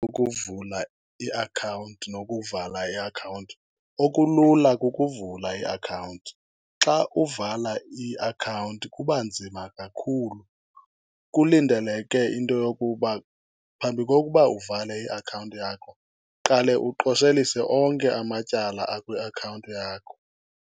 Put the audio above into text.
Ukuvula iakhawunti nokuvala iakhawunti, okulula kukuvula iakhawunti. Xa uvala iakhawunti kuba nzima kakhulu, kulindeleke into yokuba phambi kokuba uvale iakhawunti yakho qale uqoshelise onke amatyala akwiakhawunti yakho.